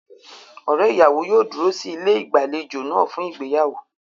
Ọ̀rẹ́ ìyàwó yóò dúró sí ilé ìgbàlejò náà fún ìgbéyàwó.